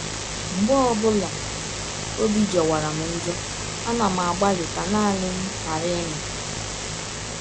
“ Mgbe ọ bụla ọbi jọwara m njọ, ana m agbalị ka naanị m ghara ịnọ.